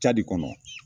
Ca de kɔnɔ